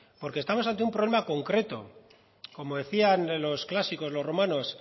estamos ante un problema concreto como decían los clásicos los romanos